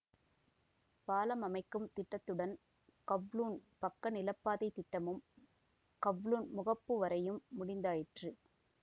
பாலம் அமைக்கும் திட்டத்துடன் கவ்லூண் பக்க நிலப்பாதைத் திட்டமும் கவ்லூண் முகப்பு வரையும் முடிந்தாயிற்று